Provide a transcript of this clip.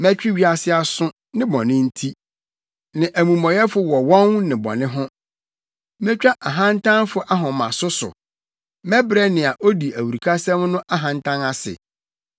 Mɛtwe wiase aso, ne bɔne nti, ne amumɔyɛfo wɔ wɔn nnebɔne ho. Metwa ahantanfo ahomaso so mɛbrɛ nea odi awurukasɛm no ahantan ase.